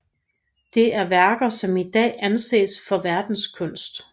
Det er værker som i dag anses for verdenskunst